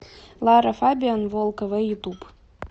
лара фабиан волк эвэй ютуб